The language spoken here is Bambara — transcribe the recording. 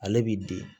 Ale b'i di